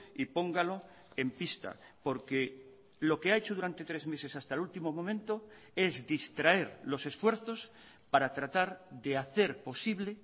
y póngalo en pista porque lo que ha hecho durante tres meses hasta el último momento es distraer los esfuerzos para tratar de hacer posible